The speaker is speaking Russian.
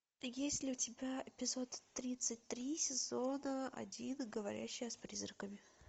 есть ли у тебя эпизод тридцать три сезона один говорящая с призраками